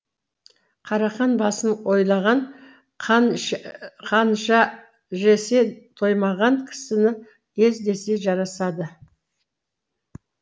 қарақан басын ойлаған қанша жесе тоймаған кісіні ез десе жарасады